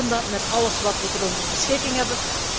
We doen dat met alles wat we tot onze beschikking hebben.